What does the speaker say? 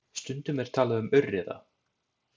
Stundum er talað um aurriða.